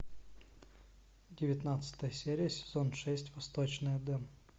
девятнадцатая серия сезон шесть восточный эдем